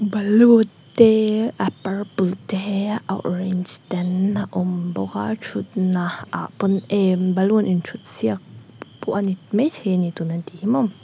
balloon te a purple te a orange ten a awm bawk a thutna ah pawn em balloon inthutsiak pawh ani maithei tuna an tih hi mawm --